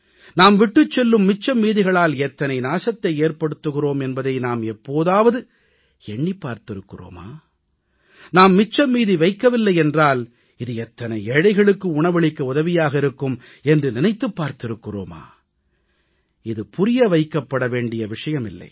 நாம் விட்டுச் செல்லும் மிச்சம் மீதிகளால் எத்தனை நாசத்தை ஏற்படுத்துகிறோம் என்பதை நாம் எப்போதாவது எண்ணிப் பார்த்திருக்கிறோமா நாம் மிச்சம் மீதி வைக்கவில்லை என்றால் இது எத்தனை ஏழைகளுக்கு உணவளிக்க உதவியாக இருக்கும் என்று நினைத்திருக்கிறோமா இது புரியவைக்கப்பட வேண்டிய விஷயமில்லை